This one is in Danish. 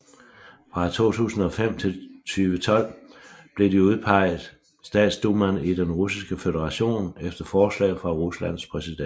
Fra 2005 til 2012 blev de udpeget Statsdumaen i Den Russiske Føderation efter forslag fra Ruslands præsident